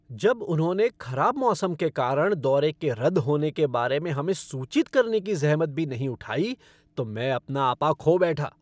जब उन्होंने खराब मौसम के कारण दौरे के रद्द होने के बारे में हमें सूचित करने की ज़हमत भी नहीं उठाई तो मैं अपना आपा खो बैठा।